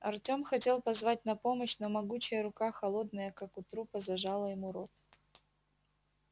артём хотел позвать на помощь но могучая рука холодная как у трупа зажала ему рот